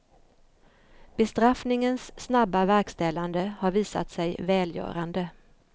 Bestraffningens snabba verkställande har visat sig välgörande.